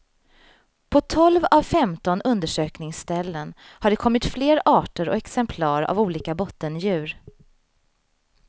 På tolv av femton undersökningsställen har det kommit fler arter och exemplar av olika bottendjur.